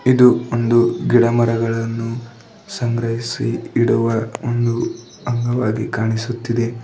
ಇದು ಒಂದು ಗಿಡಮರಗಳನ್ನು ಸಂಗ್ರಹಿಸಿ ಇಡುವ ಒಂದು ಅಂಗವಾಗಿ ಕಾಣಿಸುತ್ತಿದೆ.